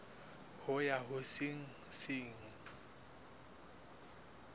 ho ya ho se seng